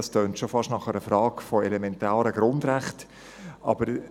» Das klingt schon fast nach einer Frage betreffend elementare Grundrechte.